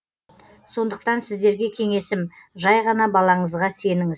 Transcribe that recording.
сондықтан сіздерге кеңесім жай ғана балаңызға сеніңіз